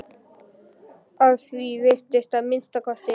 Að því er virtist að minnsta kosti.